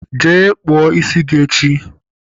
Jee kpụọ isi gị echi!